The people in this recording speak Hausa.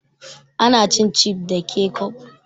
Ana cin cifs da kecof